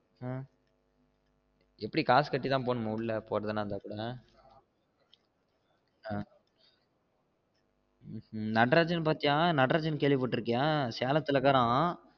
அஹ் எப்டி காசு கட்டி தான் போகணும்மா உள்ள போறதுன்னா அந்த இடத்துல்ல அஹ் நடராசன் பாத்திய நடராசன் கேள்விபடுருக்கிய நடராசன் சேலதுள்ள இருக்காராம்